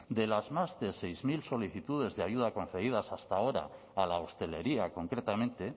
de las más de seis mil solicitudes de ayuda concedidas hasta ahora a la hostelería concretamente